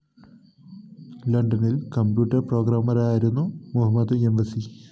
ലണ്ടനില്‍ computer പ്രോഗമറായിരുന്നു Mohammed Emwazi